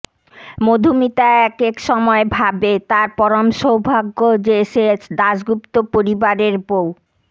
মধুমিতা একেক সময় ভাবে তার পরম সৌভাগ্য যে সে দাশগুপ্ত পরিবারের বউ